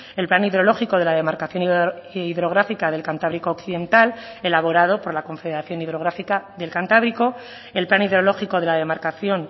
el plan hidrológico de la demarcación hidrográfica del cantábrico occidental elaborado por la confederación hidrográfica del cantábrico el plan hidrológico de la demarcación